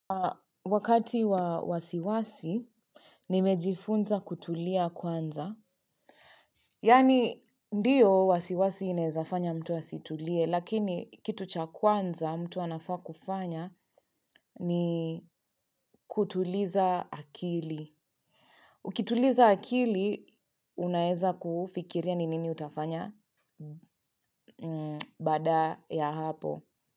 Wakati wa wasiwasi, nimejifunza kutulia kwanza. Yani, ndiyo wasiwasi inawezafanya mtu asitulie, lakini kitu cha kwanza mtu anafaa kufanya ni kutuliza akili. Ukituliza akili unaweza fikiria ni nin utafanya baada ya hapo.